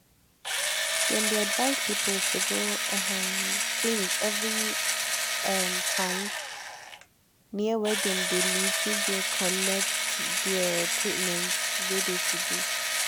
dem de advised people to go um clinic every um time near wey dem de live make dem follow collect de treatment wey de to do.